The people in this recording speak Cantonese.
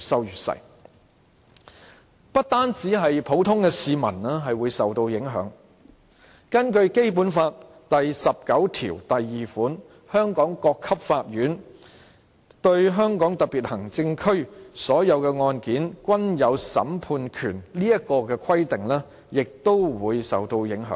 如果是這樣的話，不單普通市民會受到影響，《基本法》第十九條第二款所訂香港各級法院"對香港特別行政區所有的案件均有審判權"這項規定亦會受到影響。